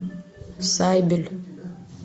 сайбель